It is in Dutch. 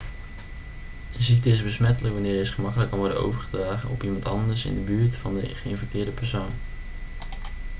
een ziekte is besmettelijk wanneer deze gemakkelijk kan worden overgedragen op iemand anders in de buurt van de geïnfecteerde persoon